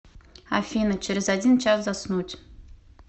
афина через один час заснуть